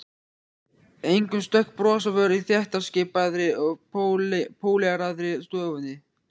Engum stökk bros á vör í þéttskipaðri og póleraðri stofunni.